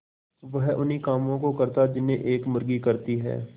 वह उन्ही कामों को करता जिन्हें एक मुर्गी करती है